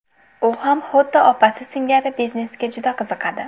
U ham xuddi opasi singari biznesga juda qiziqadi.